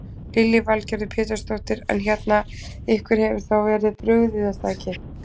Lillý Valgerður Pétursdóttir: En hérna, ykkur hefur þá verið brugðið er það ekki?